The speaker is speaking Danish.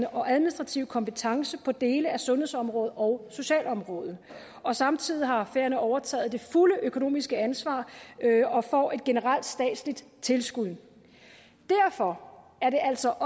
og administrative kompetence på dele af sundhedsområdet og socialområdet og samtidig har færøerne overtaget det fulde økonomiske ansvar og får et generelt statsligt tilskud derfor er det altså